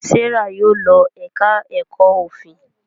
Serah Yóò ló èka èko òfin.